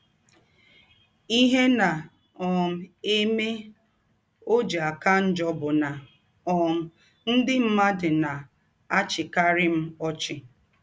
Ihe na um - eme ọ ji aka njọ bụ na um ndị mmadụ na - achịkarị m ọchị.